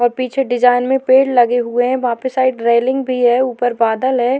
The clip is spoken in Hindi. और पीछे डिजाइन में पेड़ लगे हुए हैं वहां पे साइड रेलिंग भी है ऊपर बादल है।